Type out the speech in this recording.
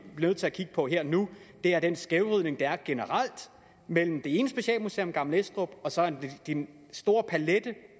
nødt til at kigge på her og nu er den skævvridning der er generelt mellem det ene specialmuseum gammel estrup og så den store palet